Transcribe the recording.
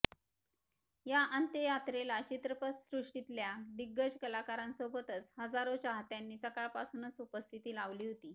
या अंत्ययात्रेला चित्रपटसृष्टीतल्या दिग्गज कलाकारांसोबतच हजारो चाहत्यांनी सकाळपासूनच उपस्थिती लावली होती